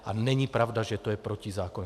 A není pravda, že to je protizákonné.